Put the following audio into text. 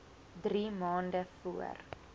drie maande voor